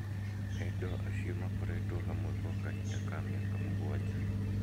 endwa acio makoretwo hamwe gwa kahinda ka mĩaka mũgwanja